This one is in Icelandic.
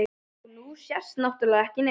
Og nú sést náttúrlega ekki neitt.